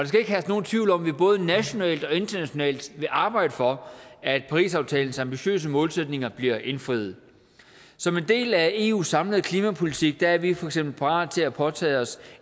skal ikke herske nogen tvivl om at vi både nationalt og internationalt vil arbejde for at parisaftalens ambitiøse målsætninger bliver indfriet som en del af eus samlede klimapolitik er vi for eksempel parate til at påtage os